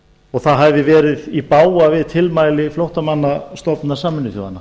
og það hafi verið í bága við tilmæli flóttamannastofnunar sameinuðu þjóðanna